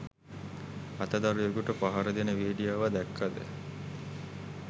අත දරුවෙකුට පහර දෙන වීඩියෝව දැක්කද?